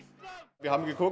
við